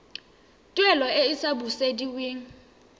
tuelo e e sa busediweng